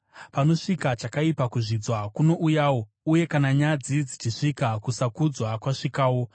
Panosvika chakaipa, kuzvidzwa kunouyawo, uye kana nyadzi dzichisvika kusakudzwa kwasvikawo.